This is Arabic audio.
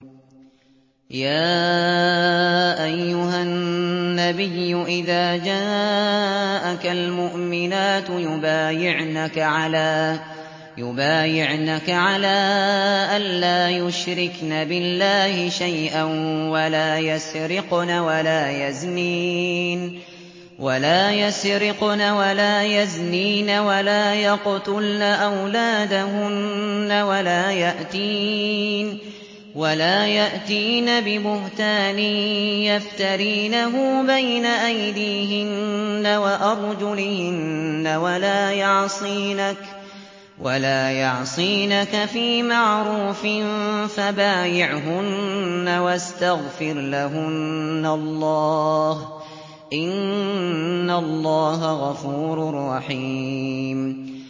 يَا أَيُّهَا النَّبِيُّ إِذَا جَاءَكَ الْمُؤْمِنَاتُ يُبَايِعْنَكَ عَلَىٰ أَن لَّا يُشْرِكْنَ بِاللَّهِ شَيْئًا وَلَا يَسْرِقْنَ وَلَا يَزْنِينَ وَلَا يَقْتُلْنَ أَوْلَادَهُنَّ وَلَا يَأْتِينَ بِبُهْتَانٍ يَفْتَرِينَهُ بَيْنَ أَيْدِيهِنَّ وَأَرْجُلِهِنَّ وَلَا يَعْصِينَكَ فِي مَعْرُوفٍ ۙ فَبَايِعْهُنَّ وَاسْتَغْفِرْ لَهُنَّ اللَّهَ ۖ إِنَّ اللَّهَ غَفُورٌ رَّحِيمٌ